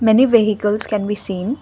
many vehicles can be seen.